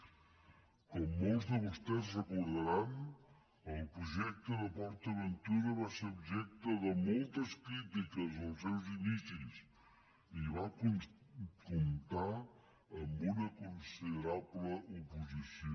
com molts de vostès deuen recordar el projecte de port aventura va ser objecte de moltes crítiques als seus inicis i va comptar amb una considerable oposició